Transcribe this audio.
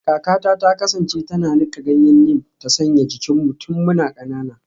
Kakata ta kasance tana nika ganyen neem ta sanya jikinmu tun muna kanana